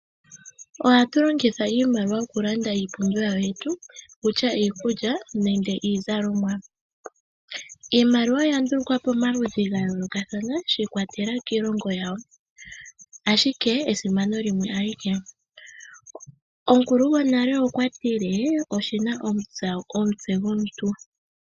Ohatu longitha iimaliwa okulanda iipumbiwa yetu, okutya iikulya, nenge iizalomwa. Iimaliwa oya ndulukwa pomaludhi gayoolokathana, shi ikwatelela kiilongo yawo, ashike esimano lyayo limwe alike. Omukulu gwonale okwati, oshina omutse gwomuntu.